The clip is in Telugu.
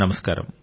నమస్కారం